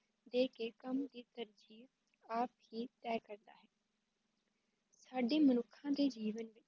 ਦੇ ਕੇ ਕੰਮ ਜੀਵ ਆਪ ਹੀ ਤੈਅ ਕਰਦਾ ਹੈ, ਸਾਡੀ ਮਨੁੱਖਾ ਦੀ ਜੀਵਨ